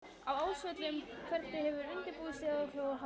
Á Ásvöllum Hvernig hefur undirbúningstímabilinu hjá ykkur verið háttað?